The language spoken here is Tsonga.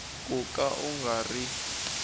ku ka u nga ri